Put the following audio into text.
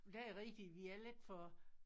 Det er rigtigt vi er lidt for